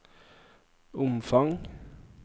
omfang